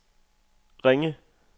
Ringe